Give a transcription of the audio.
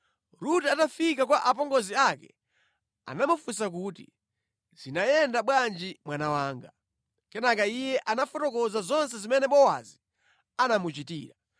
Rute atafika kwa apongozi ake anamufunsa kuti, “Zinayenda bwanji mwana wanga?” Kenaka iye anafotokoza zonse zimene Bowazi anamuchitira.